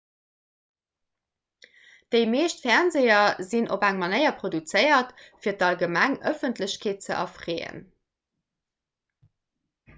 déi meescht fernseeër sinn op eng manéier produzéiert fir d'allgemeng ëffentlechkeet ze erfreeën